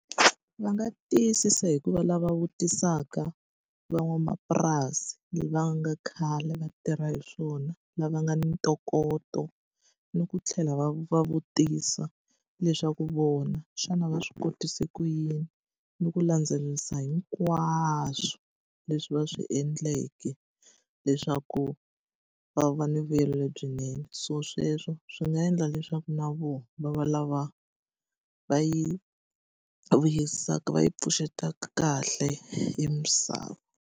Va nga tiyisisa hi ku va lava vutisaka van'wamapurasi lava nga khale va tirha hi swona, lava nga ni ntokoto. Ni ku tlhela va va vutisa leswaku vona xana va swi kotise ku yini. Ni ku landzelerisa hinkwaswo leswi va swi endleke leswaku va va ni vuyelo lebyinene. So sweswo swi nga endla leswaku na vona va va lava va yi vuyisaka yi pfuxeteka kahle e misava.